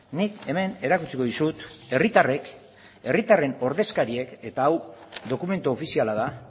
nik hemen erakutsiko dizut herritarrek herritarren ordezkariek eta hau dokumentu ofiziala da